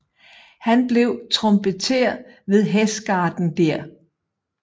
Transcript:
Han blev trompeter ved Hestgarden der